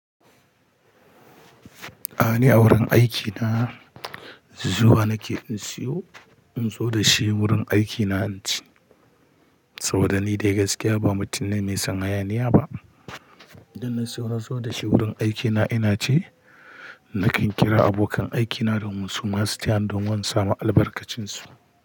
Ni a wurin aikina zuwa nake in siyo in zo da shi wurin aikina inci. Saboda ni dai gaskiya ba mutum ne mai son hayaniya ba. Idan na siyo na zo da shi wurin aikina ina ci nakan kira abokan aikina domin su ma su tayani domin in samu albarkacin su.